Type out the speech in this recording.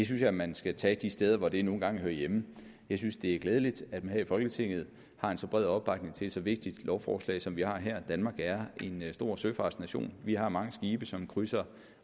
synes jeg man skal tage de steder hvor det nu en gang hører hjemme jeg synes det er glædeligt at man her i folketinget har en så bred opbakning til et så vigtigt lovforslag som vi har her danmark er en stor søfartsnation vi har mange skibe som krydser